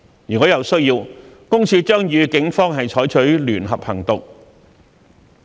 如有需要，私隱公署將與警方採取聯合行動。